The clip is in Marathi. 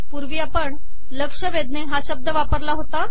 पूर्वी आपण लक्ष वेधणे हा शब्द वापरला होता